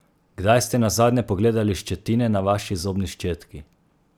Kdaj ste nazadnje pogledali ščetine na vaši zobni ščetki?